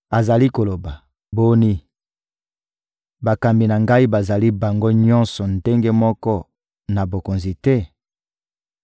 Azali koloba: «Boni, bakambi na ngai bazali bango nyonso ndenge moko na bakonzi te?